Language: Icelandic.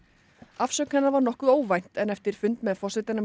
afsögn hennar var nokkuð óvænt en eftir fund með forsetanum